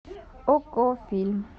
окко фильм